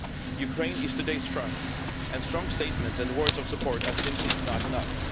Ukraine is today's front, and strong statements and words of support are simply not enough.